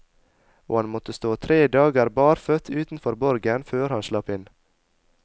Og han måtte stå tre dager barføtt utenfor borgen før han slapp inn.